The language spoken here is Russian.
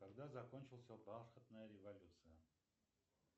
когда закончился бархатная революция